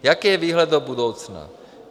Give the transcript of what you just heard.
Jaký je výhled do budoucna?